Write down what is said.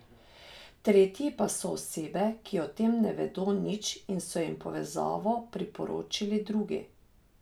Tretji pa so osebe, ki o tem ne vedo nič in so jim povezavo priporočili drugi.